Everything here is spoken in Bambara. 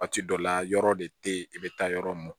Waati dɔ la yɔrɔ de tɛ ye i bɛ taa yɔrɔ mun